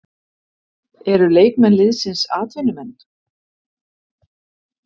Eru leikmenn liðsins atvinnumenn?